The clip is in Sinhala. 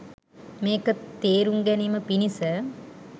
මේක තේරුම් ගැනීම පිණිස